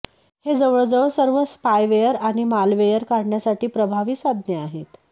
हे जवळजवळ सर्व स्पायवेअर आणि मालवेयर काढण्यासाठी प्रभावी साधने आहेत